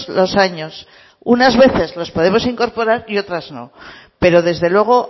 los años unas veces los podemos incorporar y otras no pero desde luego